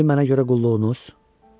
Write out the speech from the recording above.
İndi mənə görə qulluğunuz?